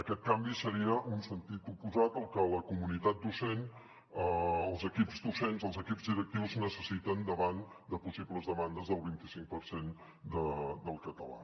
aquest canvi seria en sentit oposat al que la comunitat docent els equips docents els equips directius necessiten davant de possibles demandes del vint i cinc per cent del català